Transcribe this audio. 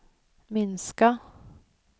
minska